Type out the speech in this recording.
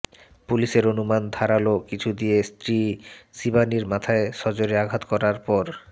পুলিসের অনুমান ধারালো কিছু দিয়ে স্ত্রী শিবানির মাথায় সজোরে আঘাত করার পর